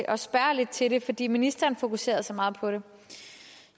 at spørge lidt til det fordi ministeren fokuserede så meget på det